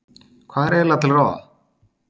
Hvað er eiginlega til ráða?